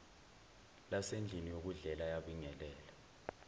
lasendlini yokudlela wabingelela